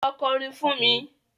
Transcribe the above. Lọ kọrin fún mi.